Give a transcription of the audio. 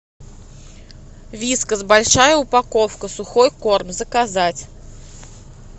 вискас большая упаковка сухой корм заказать